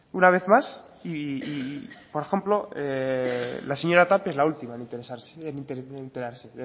una vez más y por ejemplo la señora tapia es la última en enterarse